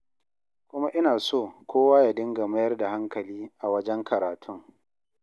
Kuma ina so kowa ya dinga mayar da hankali a wajen karatun.